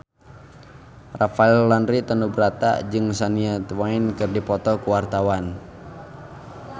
Rafael Landry Tanubrata jeung Shania Twain keur dipoto ku wartawan